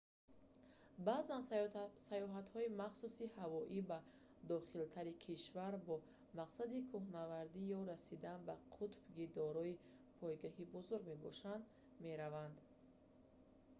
баъзан саёҳатҳои махсуси ҳавоӣ ба дохилтари кишвар бо мақсади кӯҳнавардӣ ё расидан ба қутб ки дорои пойгоҳи бузург мебошад мераванд